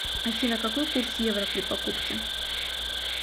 афина какой курс евро при покупке